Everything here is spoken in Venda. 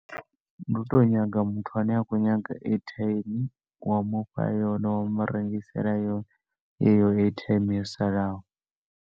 Ndi u to nyaga muthu ane a khou nyaga airtime, wa mufha yone, wa mu rengisela yone, heyo airtime yo salaho.